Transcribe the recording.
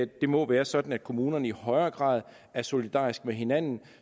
det må være sådan at kommunerne i højere grad er solidariske med hinanden